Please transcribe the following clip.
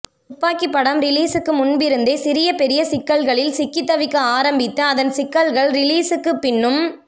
துப்பாக்கி படம் ரிலீஸூக்கு முன்பிருந்தே சிறிய பெரிய சிக்கல்களில் சிக்கித் தவிக்க ஆரம்பித்து அதன் சிக்கல்கள் ரீலீசுக்குப் பின்னும்